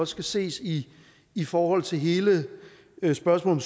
skal ses i i forhold til hele spørgsmålet